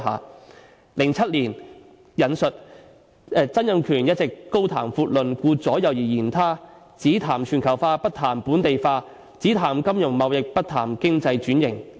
在2007年的一篇政論說："曾蔭權一直高談闊論，顧左右而言他，只談全球化，不談本地化；只談金融貿易，不談經濟轉型。